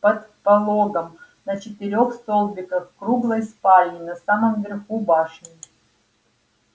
под пологом на четырёх столбиках в круглой спальне на самом верху башни